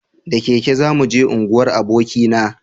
da keke za mu je unguwar aboki na